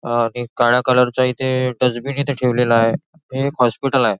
अ एक काळ्या कलरचा इथे डस्टबिन इथे ठेवला आहे हे एक हॉस्पिटल आहे.